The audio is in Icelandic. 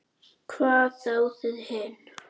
Hvað þá þið hin.